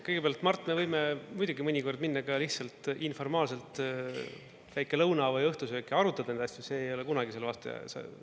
Kõigepealt, Mart, me võime muidugi mõnikord minna ka lihtsalt informaalselt, väike lõuna või õhtusöök, ja arutada neid asju, see ei ole kunagi selle vastu.